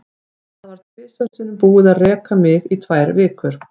Það var tvisvar sinnum búið að reka mig í tvær vikur.